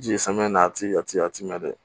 Ji ye samiya na a ti a ti a ti mɛn dɛ